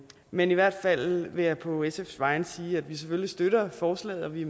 men i hvert fald vil jeg på sfs vegne sige at vi selvfølgelig støtter forslaget da vi